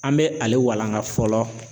An bɛ ale walanga fɔlɔ